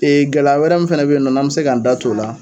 gɛlɛya wɛrɛ min fana bɛ yen nɔ n'an mɛ se k'an da tu o la